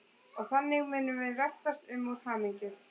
Og þannig munum við veltast um úr hamingju.